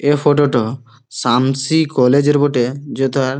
এ photo টো Samsi college এর বটে যে তার--